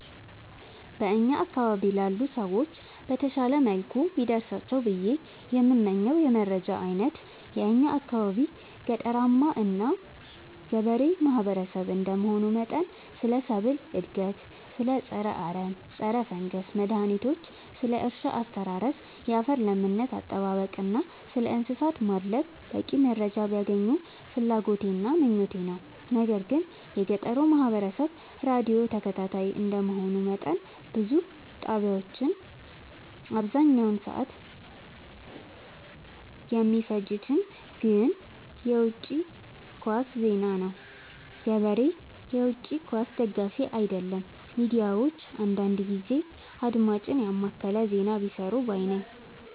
በእኛ አካባቢ ላሉ ሰዎች በተሻለ መልኩ ቢደርሳቸው ብዬ የምመኘው የመረጃ አይነት የእኛ አካባቢ ገጠራማ እና ገበሬ ማህበሰብ እንደመሆኑ መጠን ስለ ሰብል እድገት ስለ ፀረ አረም ፀረፈንገስ መድሀኒቶች ስለ እርሻ አስተራረስ ያፈር ለምነት አጠባበቅ እና ስለእንሰሳት ማድለብ በቂ መረጃ ቢያገኙ ፍላጎቴ እና ምኞቴ ነው። ነገር ግን የገጠሩ ማህበረሰብ ራዲዮ ተከታታይ እንደ መሆኑ መጠን ብዙ ጣቢያዎች አብዛኛውን ሰዓት የሚፈጅት ግን በውጪ ኳስ ዜና ነው። ገበሬ የውጪ ኳስ ደጋፊ አይደለም ሚዲያዎች አንዳንዳንድ ጊዜ አድማጭን የማከለ ዜና ቢሰሩ ባይነኝ።